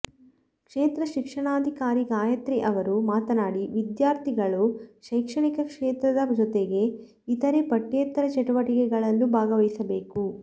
ಕ್ಷೇತ್ರ ಶಿಕ್ಷಣಾಧಿಕಾರಿ ಗಾಯತ್ರಿ ಅವರು ಮಾತನಾಡಿ ವಿದ್ಯಾರ್ಥಿಗಳು ಶೈಕ್ಷಣಿಕ ಕ್ಷೇತ್ರದ ಜೊತೆಗೆ ಇತರೆ ಪಠ್ಯೇತರ ಚಟುವಟಿಗಳಲ್ಲೂ ಭಾಗವಹಿಸಬೇಕು